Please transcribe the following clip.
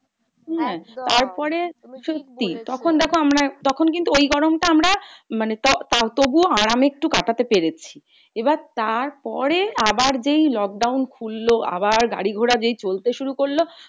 সত্যি তখন দেখো আমরা তখন কিন্তু ওই গরমটা আমরা মানে তাও তবুও আরামে একটু কাটাতে পেরেছি। এবার তারপরে আবার যেই lockdown খুলল, আবার গাড়ি ঘোড়া যেই চলতে শুরু করলো,